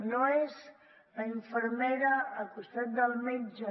no és la infermera al costat del metge